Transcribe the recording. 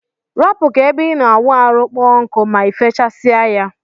Arapu ka ebe ina awụ arụ kpụọ nku ma ifechsie ya.